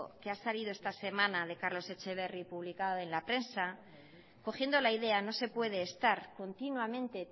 que ha salido esta semana de carlos etxeberri publicada en la prensa cogiendo la idea no se puede estar continuamente